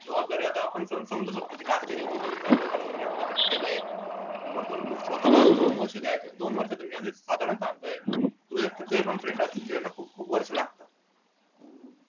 आपण आता समजू शकतो कि marketing engineering आपण केलाय वरतून स्वतःला ला अनुभव ये दोन वर्ष म्हणजे साधारण सांगतोय त्याना खूप खूप वर्ष लागतात